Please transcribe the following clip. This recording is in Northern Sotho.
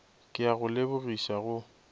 ke a go lebogiša go